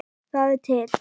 Það er til